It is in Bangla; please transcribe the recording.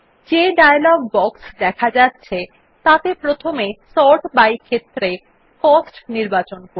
যে ডায়লগ বক্স দেখা যাচ্ছে তাতে প্রথমে সর্ট বাই ক্ষেত্রে কস্ট নির্বাচন করুন